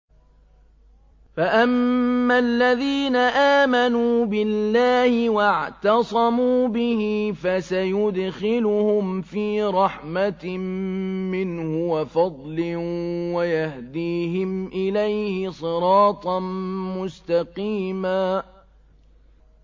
فَأَمَّا الَّذِينَ آمَنُوا بِاللَّهِ وَاعْتَصَمُوا بِهِ فَسَيُدْخِلُهُمْ فِي رَحْمَةٍ مِّنْهُ وَفَضْلٍ وَيَهْدِيهِمْ إِلَيْهِ صِرَاطًا مُّسْتَقِيمًا